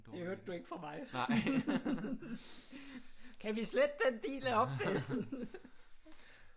Det hørte du ikke fra mig kan vi slette den del af optagelsen